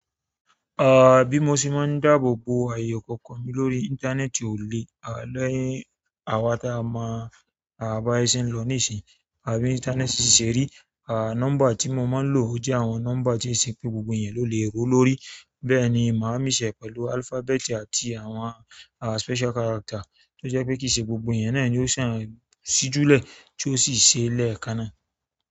Ah, bí mo ṣe máa ń dáàbò bo ààyé ikoko mi lórí íńtánẹ́ẹ̀tì ò lé e, àni, àwa tí a mo à bi aye ṣe ń lọ nísíyi àtí bi íńtánẹ́ẹ̀tì ṣè rí, ah, nọ́mbà tí mo máa ń lò jẹ́ àwọn nọ́mbà tí ó ṣe pé gbogbo ẹ̀eyan ló lè ró lórí. Bẹ́ẹ̀ni màá mìx e pẹ̀lú alphabeti àti àwọn ah special character, tó jẹ́ pé kì í ṣe gbogbo ẹ̀eyan náà ni yóò kàn ṣíju lẹ̀ tí ó sì ṣe lẹ́ẹ̀kan náà.